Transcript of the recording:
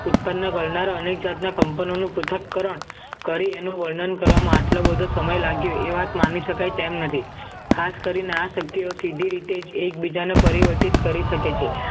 તને કરનાર અનેક જાતના કંપનઓ નું પૃથ્થકરણ કરી એનું વર્ણન કરવામાં આટલો બધો સમય લાગ્યો એ વાત માની શકાય તેમ નથી. ખાસ કરીને આ સભ્યો સીધી રીતે જ એકબીજાને પરિવર્તિત કરી શકે છે